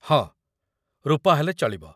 ହଁ, ରୂପା ହେଲେ ଚଳିବ ।